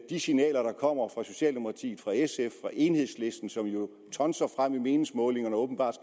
de signaler der kommer fra socialdemokratiet fra sf og fra enhedslisten som jo tonser frem i meningsmålingerne og åbenbart